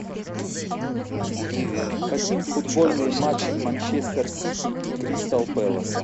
хотим футбольный матч манчестер сити и кристал пэласа